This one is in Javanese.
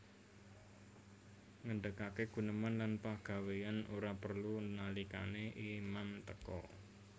Ngendhegage guneman lan pagawean ora prelu nalikane imam teka